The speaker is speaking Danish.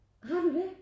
Har du det?